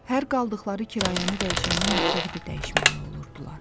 Hər qaldıqları kirayəni dəyişəndə məktəbi də dəyişməli olurdular.